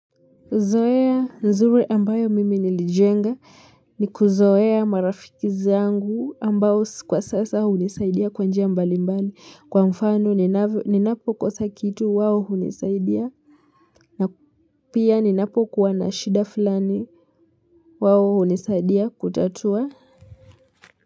Zoea nzuri ambayo mimi nilijenga ni kuzoea marafiki zangu ambao kwa sasa hunisaidia kwa njia mbali mbali kwa mfano ninavyo ninapo kosa kitu wao hunisaidia na pia ninapo kuwa na shida fulani wao hunisaidia kutatua.